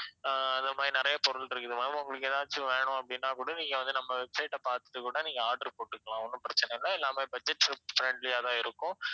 அஹ் அத மாதிரி நிறைய பொருள் இருக்குது ma'am உங்களுக்கு எதாச்சும் வேணும் அப்படின்னா கூட நீங்க நம்ம website அ பார்த்துட்டு கூட நீங்க order போட்டுக்கலாம் ஒண்ணும் பிரச்சனை இல்லை எல்லாமே budget fri~ friendly ஆ தான் இருக்கும்